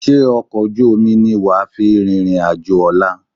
Ṣé ọkọ̀ ojú omi ní wà à fi rìnrìn àjò ọ̀la?